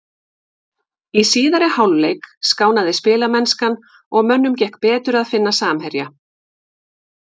Í síðari hálfleik skánaði spilamennskan og mönnum gekk betur að finna samherja.